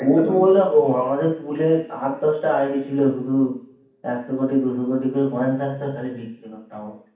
ওতো ঐরকম আমাদের পুলে আট, দশটা ID ছিল শুধু। একশো কোটি, দুশো কোটি করে coin থাকতো। খালি বিক্রি করতাম।